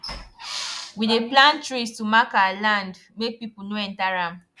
we dey plant trees to mark our land make people no enter am